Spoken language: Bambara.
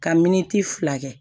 Ka miniti fila kɛ